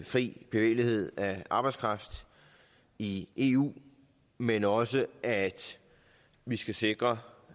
fri bevægelighed af arbejdskraft i eu men også af at vi skal sikre